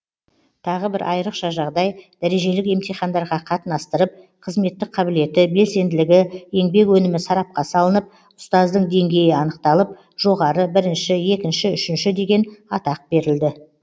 тағы бір айрықша жағдай дәрежелік емтихандарға қатынастырып қызметтік қабілеті белсенділігі еңбек өнімі сарапқа салынып ұстаздың деңгейі анықталып жоғары бірінші екінші үшінші деген атақ берілді